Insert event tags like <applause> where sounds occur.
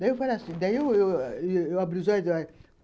Daí eu falo assim <unintelligible> daí eu abri os dois olhos.